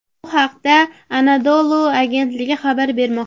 Bu haqda Anadolu agentligi xabar bermoqda .